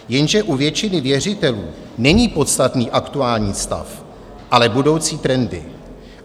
Jenže u většiny věřitelů není podstatný aktuální stav, ale budoucí trendy.